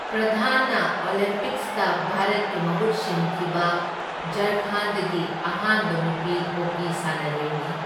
ꯄ꯭ꯔꯙꯥꯟꯅ ꯑꯣꯂꯦꯝꯄꯤꯛꯁꯇ ꯚꯥꯔꯠꯀꯤ ꯃꯍꯨꯠ ꯁꯤꯟꯈꯤꯕ ꯓꯥꯔꯈꯟꯗꯒꯤ ꯑꯍꯥꯟꯕ ꯅꯨꯄꯤ ꯍꯣꯀꯤ ꯁꯥꯟꯅꯔꯣꯏꯅꯤ꯫